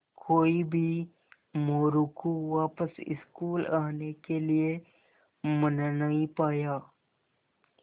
कोई भी मोरू को वापस स्कूल आने के लिये मना नहीं पाया